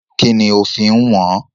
Kínní ó fi ń wọn-án?